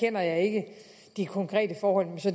kender jeg ikke de konkrete forhold